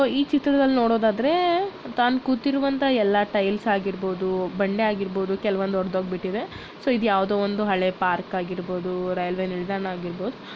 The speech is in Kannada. ಈ ಚಿತ್ರದಲ್ ನೋದದಾದ್ರೆ ತಾನ್ ಕೂತಿರುವಂತ ಎಲ್ಲ ಟೈಲ್ಸ್ ಆಗಿರ್ಬೋದು ಬಂಡೆ ಆಗಿರ್ಬೊದು ಕೆಲೆವಂದು ಹೋಗ್ಬಿಟ್ಟಿದೇ ಸೊ ಇದು ಯಾವುದೊಂದು ಹಳೆ ಪಾರ್ಕ್ ಆಗಿರ್ಬೋದು ರೈಲ್ವೆ ನಿಲ್ದಾಣ ಆಗಿರ್ಬೋದು.